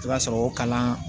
I b'a sɔrɔ o kalan